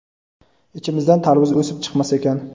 ichimizdan tarvuz o‘sib chiqmas ekan.